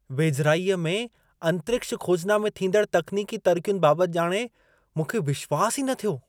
वेझिराईअ में अंतरिक्ष खोजना में थींदड़ तक्नीकी तरक़ियुनि बाबति ॼाणे मूंखे विश्वासु ई न थियो।